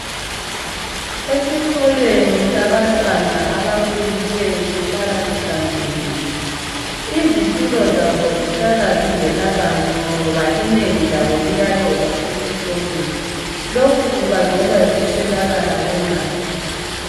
Esikolweni sabantwana abakhulileyo ukuhlala kuhlanzekile .Izitulo zabo zihlala zingela bantu ngoba inengi labo liyalova esikolweni .Lokhu kubangelwa yikuswelakala kwemali.